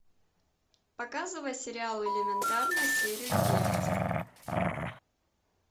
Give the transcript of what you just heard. показывай сериал элементарно серию девять